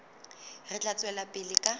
re tla tswela pele ka